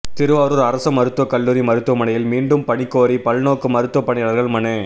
திருவாரூர் அரசு மருத்துவ கல்லூரி மருத்துவமனையில் மீண்டும் பணி கோரி பல்நோக்கு மருத்துவ பணியாளர்கள் மனு